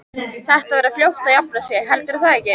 Þetta verður fljótt að jafna sig. heldurðu það ekki?